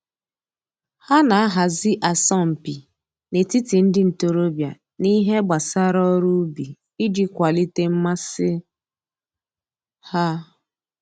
Ha na-ahazi asọmpi n'etiti ndị ntoroọbịa n'ihe gbasara ọrụ ubi iji kwalite mmasị ha